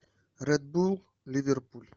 ред булл ливерпуль